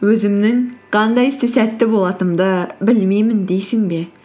өзімнің қандай істе сәтті болатынымды білмеймін дейсің бе